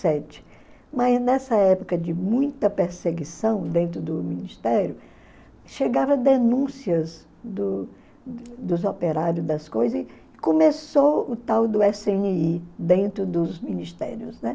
sete. Mas nessa época de muita perseguição dentro do Ministério, chegavam denúncias do dos operários das coisas e começou o tal do ésse ene i, dentro dos Ministérios, né?